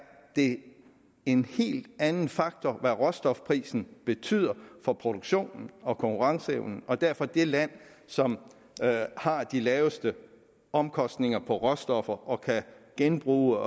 det en helt anden faktor hvad råstofprisen betyder for produktionen og konkurrenceevnen derfor vil det land som har de laveste omkostninger på råstoffer og kan genbruge